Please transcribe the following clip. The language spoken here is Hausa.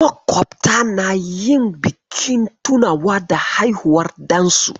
Makwabtan na yin bikin tunawa da haihuwar ɗansu.